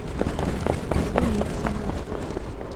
синицына